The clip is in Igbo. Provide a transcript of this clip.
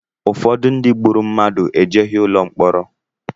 Ụfọdụ ndị gburu mmadụ ejeghị ụlọ mkpọrọ